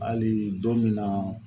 Hali don min na